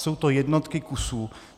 Jsou to jednotky kusů.